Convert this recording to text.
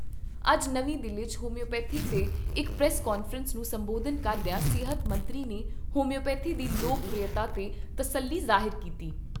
ਅੱਜ ਨਵੀਂ ਦਿੱਲੀ 'ਚ ਹੋਮਿਓਪੈਥੀ 'ਤੇ ਇਕ ਪ੍ਰੈਸ ਕਾਨਫਰੰਸ ਨੂੰ ਸੰਬੋਧਨ ਕਰਦਿਆਂ ਸਿਹਤ ਮੰਤਰੀ ਨੇ ਹੋਮਿਓਪੈਥੀ ਦੀ ਲੋਕ ਪ੍ਰਿਅਤਾ 'ਤੇ ਤਸੱਲੀ ਜ਼ਾਹਿਰ ਕੀਤੀ।